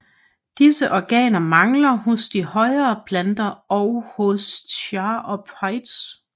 Disse organer mangler hos de højere planter og hos charophytes